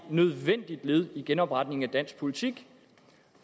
nødvendigt led i genopretningen af dansk politik